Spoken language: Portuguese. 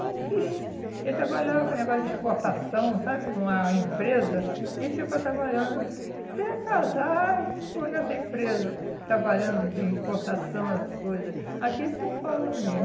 Ele trabalhava com negócio de exportação, sabe, numa empresa, e ficou trabalhando, até casar, e ficou nessa empresa, trabalhando de exportação, essas coisa, aqui em São Paulo mesmo.